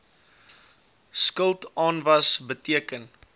skuld aanwas beteken